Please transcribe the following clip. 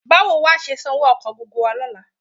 Báwo wà á ṣe san owó ọkọ̀ gbogbo wa lọ́la?